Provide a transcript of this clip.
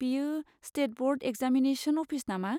बेयो state board examination office नामा?